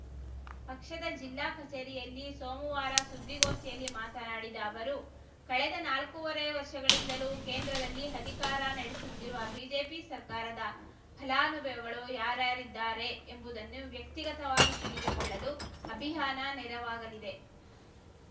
ಪಕ್ಷದ ಜಿಲ್ಲಾ ಕಚೇರಿಯಲ್ಲಿ ಸೋಮವಾರ ಸುದ್ದಿಗೋಷ್ಠಿಯಲ್ಲಿ ಮಾತನಾಡಿದ ಅವರು ಕಳೆದ ನಾಲ್ಕೂವರೆ ವರ್ಷಗಳಿಂದಲೂ ಕೇಂದ್ರದಲ್ಲಿ ಅಧಿಕಾರ ನಡೆಸುತ್ತಿರುವ ಬಿಜೆಪಿ ಸರ್ಕಾರದ ಫಲಾನುಭವಿಗಳು ಯಾರರಿದ್ದಾರೆ ಎಂಬುದನ್ನು ವ್ಯಕ್ತಿಗತವಾಗಿ ತಿಳಿದುಕೊಳ್ಳಲು ಅಭಿಯಾನ ನೆರವಾಗಲಿದೆ